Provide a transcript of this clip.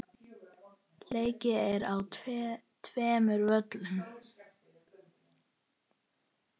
Leikið er á tveimur völlum.